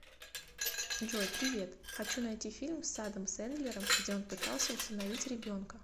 джой привет хочу найти фильм с адам сэндлером где он пытался усыновить ребенка